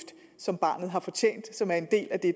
som barnet har fortjent og som er en del af det